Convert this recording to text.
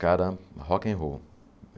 Cara, rock and roll.